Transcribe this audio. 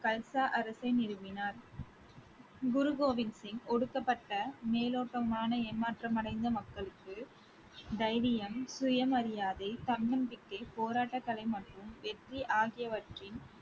கல்சா அரசை நிறுவினார். குரு கோவிந்த் சிங் ஒடுக்கப்பட்ட மேலோட்டமான ஏமாற்றமடைந்த மக்களுக்கு தைரியம், சுயமரியாதை, தன்னம்பிக்கை, போராட்டக்கலை மற்றும் வெற்றி ஆகியவற்றின்